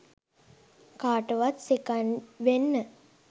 කාටවත් සෙකන්ඩ් වෙන්න.